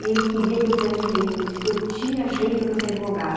E ele queria que eu fizesse direito, ele disse que eu tinha jeito para ser advogada.